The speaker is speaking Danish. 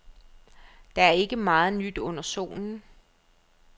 Der er ikke meget nyt under solen.